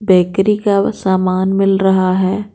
Bakery का सामान मिल रहा है।